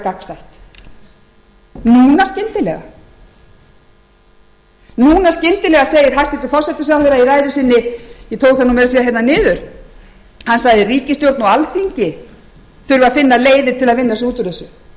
að vera gagnsætt núna skyndilega segir hæstvirtur forsætisráðherra í ræðu sinni ég tók það meira að segja niður hann sagði ríkisstjórn og alþingi starfa að finna leiðir átt að vinna sig út úr þessu það er